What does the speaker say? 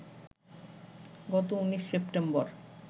গত ১৯ সেপ্টেম্বর